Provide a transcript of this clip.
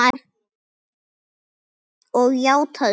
Og játað svo.